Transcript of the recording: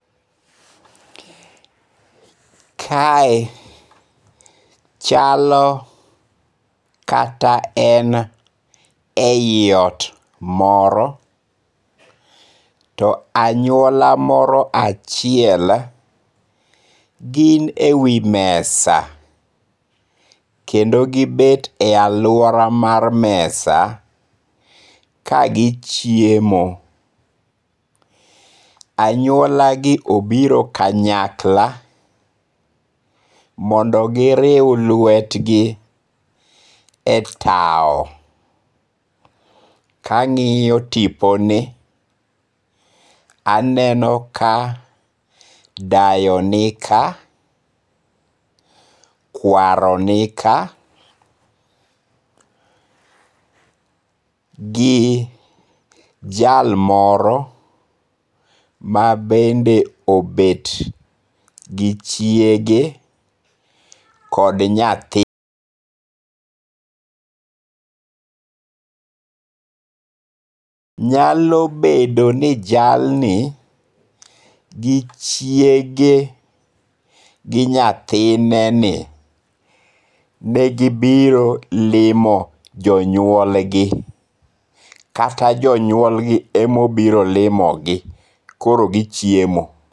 Kae chalo kata en e iot moro to anyuola moro achiel gin e wi mesa kendo gi bet e aluora mar mesa kagichiemo, anyuolagi obiro kanyakla mondo giriw lwetgi e tawo. Kangi'yo tiponi to aneno ka dayo nika, kwaro nika gi jal moro ma bende obet gi chiege kod nyathi .Nyalo bedo ni jalni gi chiege kod nyathineni negibiro limo janyuolgi kata jonyuolgi ema obiro limogi koro gichiemo.